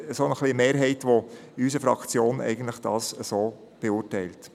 So beurteilt eine Mehrheit von unserer Fraktion das Geschäft.